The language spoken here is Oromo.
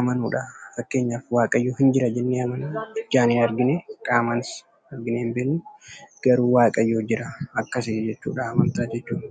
amanuudha. Fakkeenyaaf waaqayyoon hin jira jennee amanna; ijaan hin arginee, qaamaanis arginee hin beeknu garuu waaqayyoo jira. Akkasi jechuudha amantaa jechuun.